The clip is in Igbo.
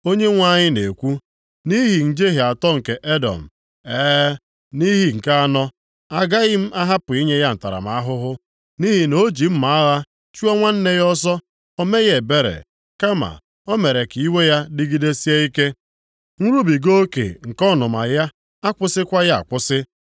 Onyenwe anyị na-ekwu, “Nʼihi njehie atọ nke Edọm, e, nʼihi nke anọ, agaghị m ahapụ inye ya ntaramahụhụ. Nʼihi na o ji mma agha chụọ nwanne ya ọsọ, o meghị ebere, kama, o mere ka iwe ya dịgidesie ike; nrubiga oke nke ọnụma ya akwụsịkwaghị akwụsị.